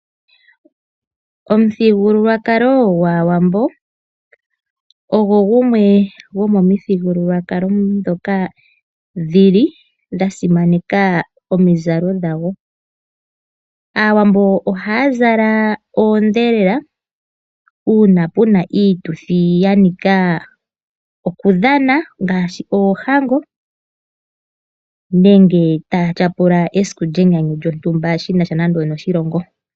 Omithigululwakalo gwaawambo, ogwo gumwe gwomithigululwakalo ndhoka dha dhi li dha simaneka omizalo dhagwo. Aawambo oha ya zala oondhelela, uuna pena iituthi ya nika oku dhana ngaashi oohango, menge ya ya tyapula enyanyu lyontumba, shinasha nande onoshilongo.